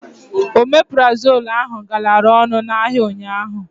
Omeprazol ahụ galara ọnụ n'ahịa ụnyaahụ.